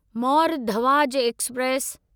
Mor Dhwaj express